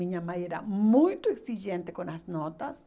Minha mãe era muito exigente com as notas.